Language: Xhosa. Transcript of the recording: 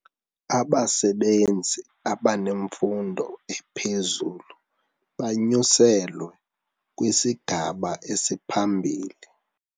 Abasebenzi abanemfundo ephezulu banyuselwe kwisigaba esiphambili.